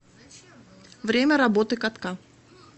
время работы катка